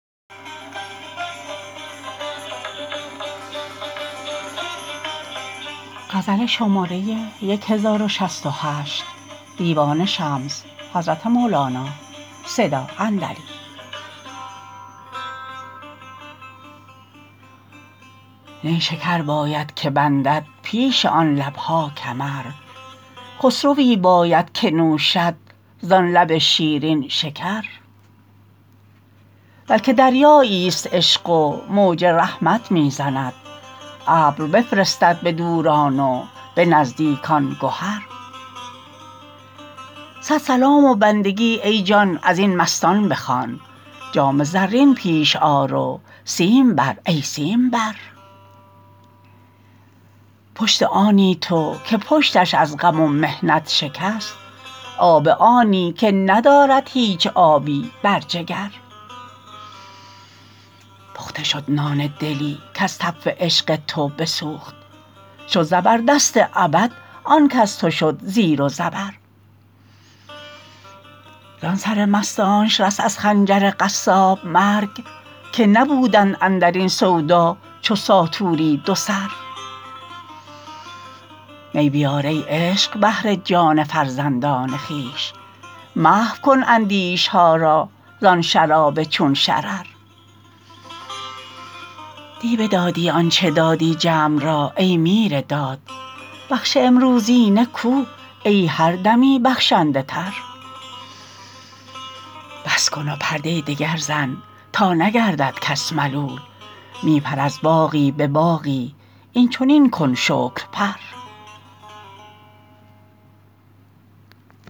نیشکر باید که بندد پیش آن لب ها کمر خسروی باید که نوشم زان لب شیرین شکر بلک دریاییست عشق و موج رحمت می زند ابر بفرستد به دوران و به نزدیکان گهر صد سلام و بندگی ای جان از این مستان بخوان جام زرین پیش آر و سیم بر ای سیمبر پشت آنی تو که پشتش از غم و محنت شکست آب آنی که ندارد هیچ آبی بر جگر پخته شد نان دلی کز تف عشق تو بسوخت شد زبردست ابد آن کز تو شد زیر و زبر زان سر مستانش رست از خنجر قصاب مرگ که نبودند اندر این سودا چو ساطوری دوسر می بیار ای عشق بهر جان فرزندان خویش محو کن اندیشه ها را زان شراب چون شرر دی بدادی آنچ دادی جمع را ای میر داد بخش امروزینه کو ای هر دمی بخشنده تر بس کن و پرده دگر زن تا نگردد کس ملول می پر از باغی به باغی این چنین کن پر شکر